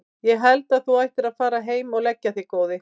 Ég held að þú ættir að fara heim og leggja þig góði!